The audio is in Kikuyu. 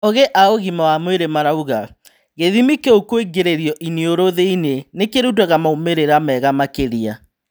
Ogĩ a ũgima wa mwarĩ marauga, gĩthĩmi kĩu kũingĩrio iniũrũ thĩinĩ nĩkũrutaga maumĩrĩra mega makĩria.